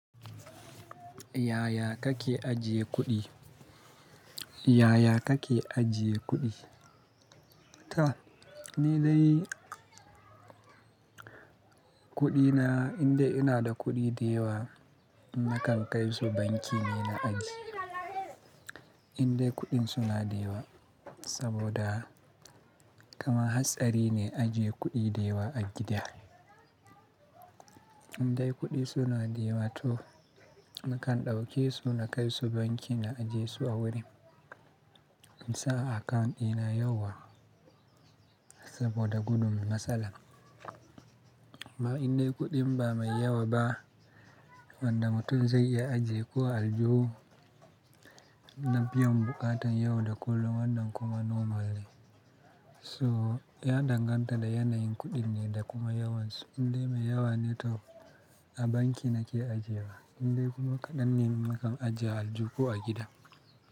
Yaya kake ajiye kuɗi? Yaya kake ajiye kuɗi? To, ni dai kuɗina indai ina da kuɗi dewa nakan kai su banki ne na ajiye. Indai kuɗin suna da yawa saboda kama hatsari ne ajiye kuɗi da yawa a gida. Indai kuɗi suna da yawa to ni kan ɗauke su na kai su banki na ajiye su a wurin. In sa akant ina yawa saboda gudun matsala. Ama indai kuɗin ba mai yawa ba, wanda mutum zai iya ajiye kuwa alju na biyun buƙatan yau da kullum wanda kuma normal ne. So ya danganta da yanayin kuɗin ne da kuma yawansu. Indai mai yawa ne to a banki nake ajiye wa, indai kuma kaɗan ne nakan ajiye aljuhu a gida.